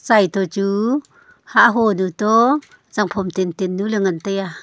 hai to chu hah ho du toh zangphom tan tan nu ley ngan taiya.